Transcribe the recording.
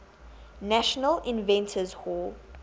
national inventors hall